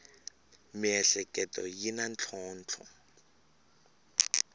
miehleketo yi na ntlhontlho